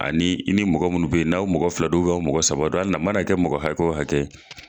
Ani i ni mɔgɔ minnu be yen. N'aw mɔgɔ fila don aw mɔgɔ saba na a mana kɛ mɔgɔ hakɛ wo hakɛ ye .